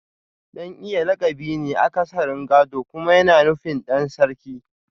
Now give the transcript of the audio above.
Dan Iyan lakabi ne akasarin gado kuma yana nufin Dan Sarki